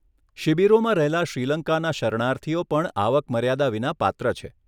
શિબિરોમાં રહેલા શ્રીલંકાના શરણાર્થીઓ પણ આવક મર્યાદા વિના પાત્ર છે.